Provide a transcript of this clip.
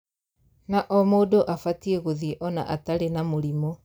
Na o mũndũ abatiĩ gũthiĩ ona atarĩ na mũrimũ